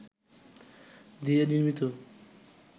দিয়ে নির্মিত